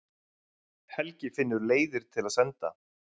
Helgi finnur leiðir til að senda